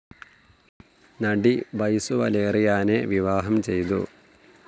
നടി ബൈസു വലേറിയാനെ വിവാഹം ചെയ്തു.